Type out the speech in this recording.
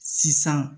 Sisan